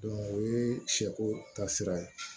o ye sɛ ko ta sira ye